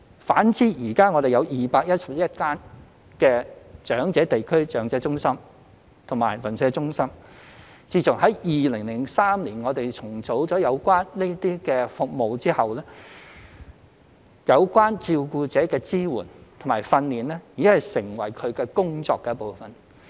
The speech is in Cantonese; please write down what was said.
反之，現時我們全港有211間長者地區中心/長者鄰舍中心，自從在2003年重組這些有關服務後，照顧者的支援和培訓已成為其工作的一部分。